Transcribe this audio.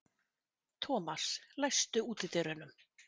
Thomas, læstu útidyrunum.